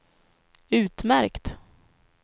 utmärkt